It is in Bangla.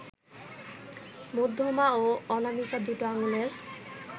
মধ্যমা ও অনামিকা দুটো আঙুলের